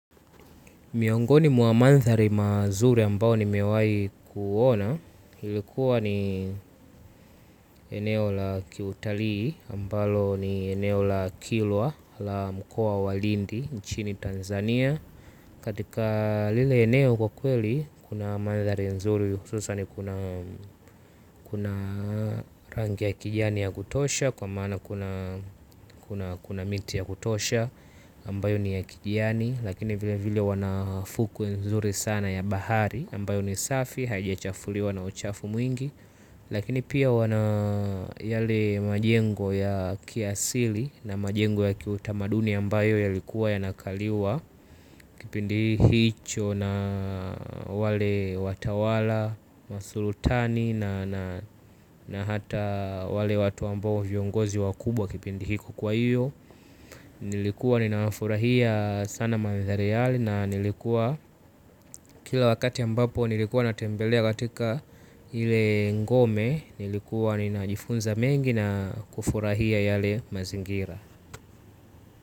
Miongoni mwa manthari mazuri ambao ni mewai kuona ilikuwa ni eneo la kiutalii ambalo ni eneo la kilwa la mkuo walindi nchini Tanzania. Katika lile eneo kwa kweli kuna mandhari nzuri hususa ni kuna rangi ya kijani ya kutosha kwa maana kuna kuna miti ya kutosha ambayo ni ya kijani lakini vile vile wanafuku nzuri sana ya bahari ambayo ni safi haijachafuliwa na uchafu mwingi. Lakini pia wana yale majengo ya kiasili na majengo ya kiutamaduni ambayo ya likuwa yanakaliwa. Kipindihicho na wale watawala, masulutani na hata wale watu ambayo viongozi wakubwa kipindihiko kwa hiyo. Nilikuwa ninafurahia sana mandhari yale na nilikuwa kila wakati ambapo nilikuwa natembelea katika ile ngome. Nilikuwa ninajifunza mengi na kufurahia yale mazingira.